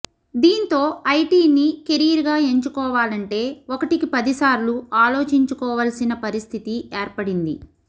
దీంతో ఐటీని కెరీర్ గా ఎంచుకోవాలంటే ఒకటికి పదిసార్లు ఆలోచించుకోవాల్సిన పరిస్థితి ఏర్పడింది